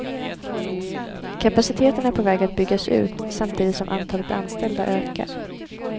Kapaciteten är på väg att byggas ut, samtidigt som antalet anställda ökar.